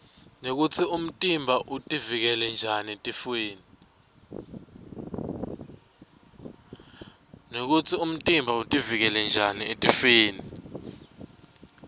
nekutsi umtimba utiuikela njani etifwoni